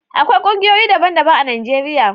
Akwai kungiyoyi daban-daban a Najeriya.